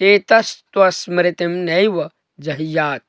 चेतस्त्वस्मृतिं नैव जह्यात्